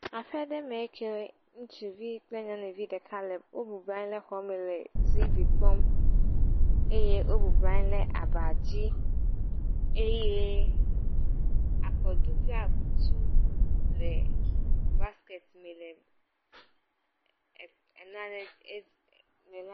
Aƒe ɖe me kee le ŋutsuvi kple nyeɔnuvi ɖeka aɖe wo bɔbɔnɔ anyi le tv kpɔm eye akɔɖu kple akutu le basket me le em,..em…em,….